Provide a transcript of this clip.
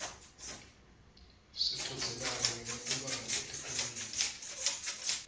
sichudzelana ngematubane etikolweni